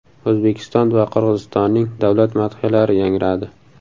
O‘zbekiston va Qirg‘izistonning davlat madhiyalari yangradi.